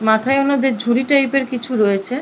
মাথায় ওনাদের ঝুড়ি টাইপ -এর কিছু রয়েছে।